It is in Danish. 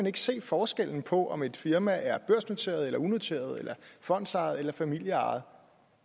ikke se forskellen på om et firma er børsnoteret unoteret fondsejet eller familieejet